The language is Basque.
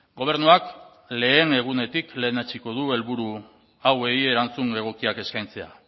gobernuak lehen egunetik lehenetsiko du helburu hauei erantzun egokiak eskaintzea